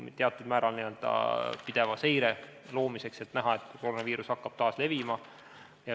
See on teatud määral n-ö pideva seire loomiseks, et näha, kas koroonaviirus hakkab taas levima.